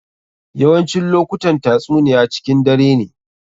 Yawancin lokutan tatsuniya cikin dare ne.